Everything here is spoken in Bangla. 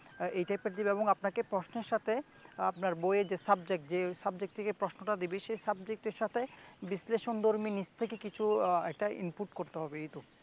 এই টাইপের দিবে এবং আপনাকে প্রশ্নের সাথে আপনার বইয়ের যে subject যে subject থেকে প্রশ্নটা দিবে সে subject এর সাথে বিশ্লেষণধর্মী নিজ থেকে কিছু আহ একটা input করতে হবে এই্ত